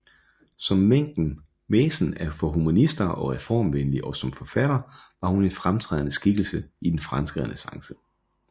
Som mæcen for humanister og reformvenlige og som forfatter var hun en fremtrædende skikkelse i den franske renæssance